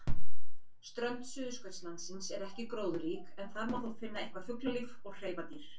Strönd Suðurskautslandsins er ekki gróðurrík en þar má þó finna eitthvað fuglalíf og hreifadýr.